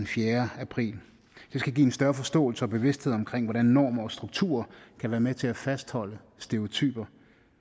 fjerde april det skal give en større forståelse for og bevidsthed om hvordan normer og strukturer kan være med til at fastholde stereotyper